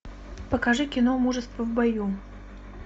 покажи кино мужество в бою